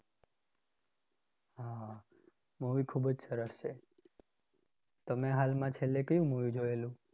હા movie ખૂબ જ સરસ છે. તમે હાલમાં છેલ્લે કયું movie જોયેલું?